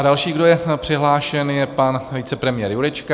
A další, kdo je přihlášen, je pan vicepremiér Jurečka.